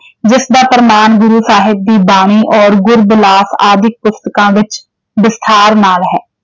ਜਿਸ ਦਾ ਪ੍ਰਮਾਣ ਗੁਰੂ ਸਾਹਿਬ ਦੀ ਬਾਣੀ ਔਰ ਗੁਰਬਿਲਾਸ ਆਦਿਕ ਪੁਸਤਕਾਂ ਵਿੱਚ ਵਿਸਥਾਰ ਨਾਲ ਹੈ।